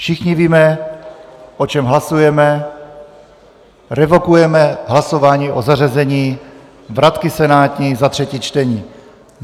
Všichni víme, o čem hlasujeme - revokujeme hlasování o zařazení vratky senátní za třetí čtení.